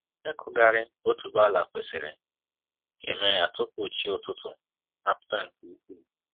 ịkụghari otuboala kwesịrị ka eme ya tupu chi ụtụtụ apụta nke ukwu